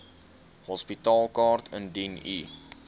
hospitaalkaart indien u